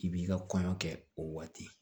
K'i b'i ka kɔɲɔ kɛ o waati